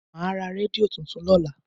Màá ra rédíò tuntun lọ́la.